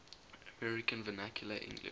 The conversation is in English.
american vernacular english